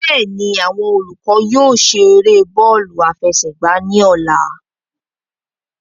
Bẹ́ẹ̀ni, awọn olukọ yóò ṣe ere bọọlu afẹsẹgba ni ọla